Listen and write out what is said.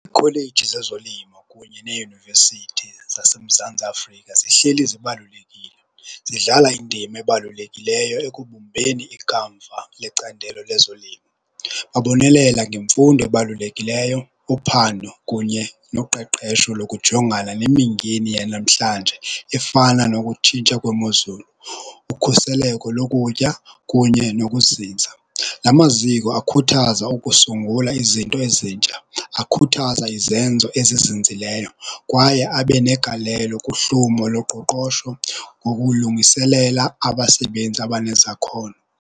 Iikholeji zezolimo kunye neeyunivesithi zaseMzantsi Afrika zihleli zibalulekile zidlala indima ebalulekileyo ekubumbeni ikamva lecandelo lezolimo. Babonelela ngemfundo ebalulekileyo kuphando kunye noqeqesho lokujongana nemingeni yanamhlanje efana nokutshintsha kwemozulu, ukhuseleko lokutya kunye nokuzinza. La maziko akhuthaza ukusungula izinto ezintsha, akhuthaza izenzo ezizinzileyo kwaye abe negalelo kuhlumo loqoqosho ngokulungiselela abasebenzi abanezakhono.